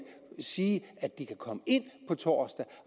sige at de kan komme ind på torsdag